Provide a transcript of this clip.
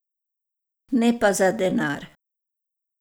Ne pa za denar.